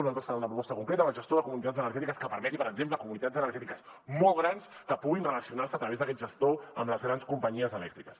nosaltres farem una proposta concreta amb el gestor de comunitats energètiques que permeti per exemple comunitats energètiques molt grans que puguin relacionar se a través d’aquest gestor amb les grans companyies elèctriques